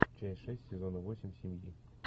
часть шесть сезона восемь семьи